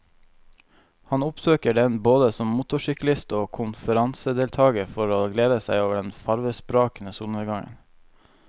Han oppsøker den både som motorsyklist og konferansedeltager for å glede seg over den farvesprakende solnedgangen.